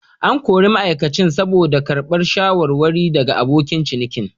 An kori ma'aikacin saboda karbar shawarwari daga abokan ciniki.